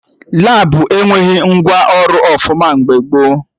Labụ enweghị ngwa ọrụ ọfụma mgbe gboo